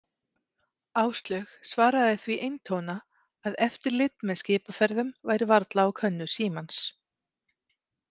Áslaug svaraði því eintóna að eftirlit með skipaferðum væri varla á könnu Símans.